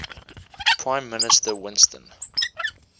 prime minister winston